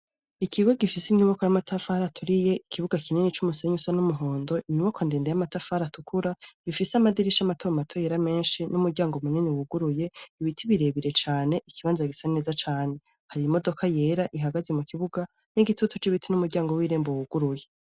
Ikigo gifise inyuboko y'amatafari aturiye ikibuga kinini c'umusenyi usa n'umuhondo inyubako ndende y'amatafari atukura gifise amadirisha matomato yera menshi n'umuryango munini wuguruye ibiti birebire cane ikibanza gisa neza cane hari imodoka yera ihagaze mu kibuga n'igitutu c'ibiti n'umuryango wirembo wuguruye.